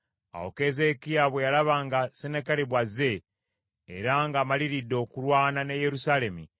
Awo Keezeekiya bwe yalaba nga Sennakeribu azze, era ng’amaliridde okulwana ne Yerusaalemi,